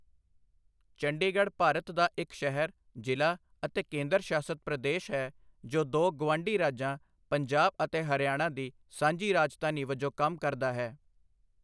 ਚੰਡੀਗੜ੍ਹ ਭਾਰਤ ਦਾ ਇੱਕ ਸ਼ਹਿਰ, ਜ਼ਿਲ੍ਹਾ ਅਤੇ ਕੇਂਦਰ ਸ਼ਾਸਤ ਪ੍ਰਦੇਸ਼ ਹੈ ਜੋ ਦੋ ਗੁਆਂਢੀ ਰਾਜਾਂ ਪੰਜਾਬ ਅਤੇ ਹਰਿਆਣਾ ਦੀ ਸਾਂਝੀ ਰਾਜਧਾਨੀ ਵਜੋਂ ਕੰਮ ਕਰਦਾ ਹੈ।